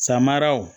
Samaraw